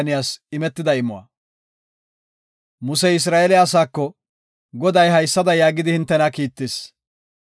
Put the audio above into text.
Musey Isra7eele asaako, “Goday haysada yaagidi hintena kiittis;